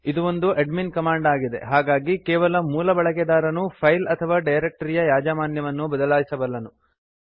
ಇದು ಒಂದು admin command ಆಗಿದೆ ಹಾಗಾಗಿ ಕೇವಲ ಮೂಲ ಬಳಕೆದಾರನು ಫೈಲ್ ಅಥವಾ ಡೈರಕ್ಟರಿಯ ಯಾಜಮಾನ್ಯವನ್ನು ಬದಲಾಯಿಸಬಲ್ಲನು